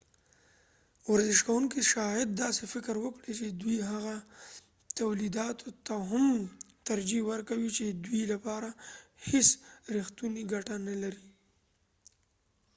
ورزش کوونکې شاید داسې فکر وکړي چې دوي هغه تولیداتو ته هم ترجېح ورکوي چې دوي لپاره هیڅ ریښتونی کټه نه لري